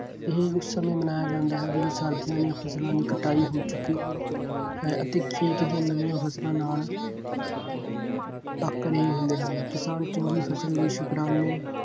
ਇਹ ਉਸ ਸਮੇਂ ਮਨਾਇਆ ਜਾਂਦਾ ਹੈ ਜਦੋਂ ਸਰਦੀਆਂ ਦੀਆਂ ਫਸਲਾਂ ਦੀ ਕਟਾਈ ਹੋ ਚੁੱਕੀ ਹੈ ਅਤੇ ਚੇਤ ਦੀਆਂ ਨਵੀਆਂ ਫਸਲਾਂ ਦੇ ਨਾਲ ਪੱਕ ਰਹੇ ਹੁੰਦੇ ਹਨ। ਕਿਸਾਨ ਚੰਗੀ ਫਸਲ ਲਈ ਸ਼ੁਕਰਾਨੇ